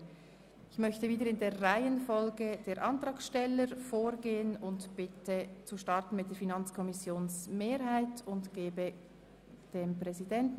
Ich möchte wieder in der Reihenfolge der Anträge vorgehen und bitte zuerst den Sprecher der FiKo-Mehrheit ans Rednerpult.